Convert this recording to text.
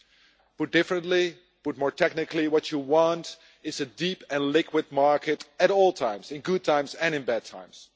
Put differently more technically what you want is a deep and liquid market at all times, in good times and in bad times.